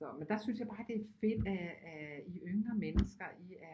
Så men så der synes jeg bare det er fedt at I yngre mennesker I er